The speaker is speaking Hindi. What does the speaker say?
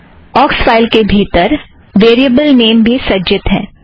ऑक्स फ़ाइल के भीतर वेरियबल नाम भी सज्जित है